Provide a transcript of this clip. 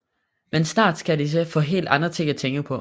Men snart skal de få helt andre ting at tænke på